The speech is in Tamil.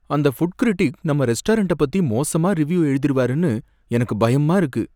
அந்த ஃபுட் கிரிட்டிக் நம்ம ரெஸ்டாரன்ட பத்தி மோசமா ரிவ்யூ எழுதிருவாருன்னு எனக்கு பயமா இருக்கு.